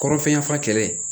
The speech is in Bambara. Kɔrɔ fɛnɲɛnamafalen